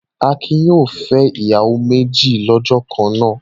Akin yóò fẹ́ ìyàwó méjì lọ́jọ́ kan náà.